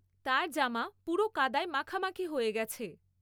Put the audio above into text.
তার জামা পুরো কাদায় মাখামাখি হয়ে গেছে।